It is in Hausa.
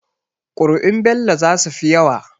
Kuri'un Bello zasu fi yawa.